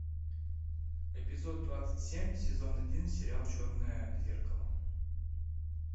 эпизод двадцать семь сезон один сериал черное зеркало